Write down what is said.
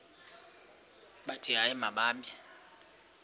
bathi hayi mababe